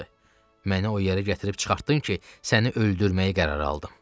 Məni o yerə gətirib çıxartdın ki, səni öldürməyi qərara aldım.